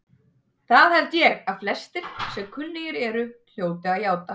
Það held ég, að flestir, sem kunnugir eru, hljóti að játa.